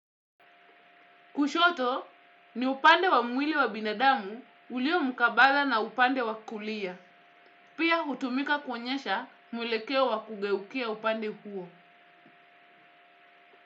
Kushoto ni upande wa mwili wa binadamu ulio mkabala na upande wa kulia, pia hutumika kuonyesha mwelekeo wa kugeukia upande huo.